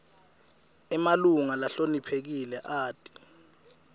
emalunga lahloniphekile ati